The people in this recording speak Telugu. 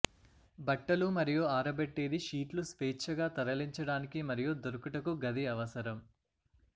బట్టలు మరియు ఆరబెట్టేది షీట్లు స్వేచ్ఛగా తరలించడానికి మరియు దొరుకుట కు గది అవసరం